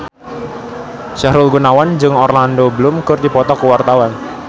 Sahrul Gunawan jeung Orlando Bloom keur dipoto ku wartawan